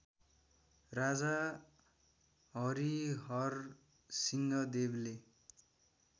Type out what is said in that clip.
राजा हरिहरसिंहदेवले